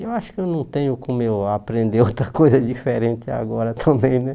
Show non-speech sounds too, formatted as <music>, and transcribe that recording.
Eu acho que eu não tenho como eu aprender <laughs> outra coisa diferente agora também, né?